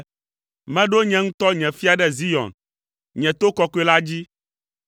“Meɖo nye ŋutɔ nye fia ɖe Zion, nye to kɔkɔe la dzi.”